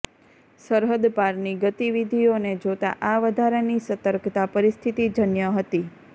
સરહદ પારની ગતિવિધીઓને જોતાં આ વધારાની સતર્કતા પરિસ્થિતિજન્ય હતી